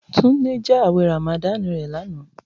Tunde bu Ramadan rẹ ãwẹ lana.